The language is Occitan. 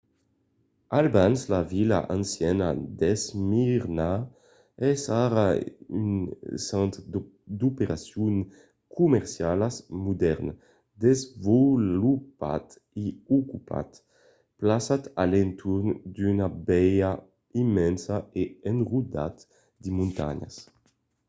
abans la vila anciana d'esmirna es ara un centre d'operacions comercialas modèrn desvolopat e ocupat plaçat a l'entorn d'una baia immensa e enrodat de montanhas